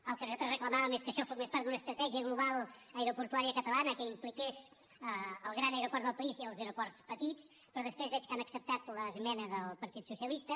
el que nosaltres reclamàvem és que això formés part d’una estratègia global aeroportuària catalana que impliqués el gran aeroport del país i els aeroports petits però després veig que han acceptat l’esmena del partit socialista